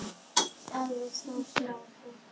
Alveg satt, Lási.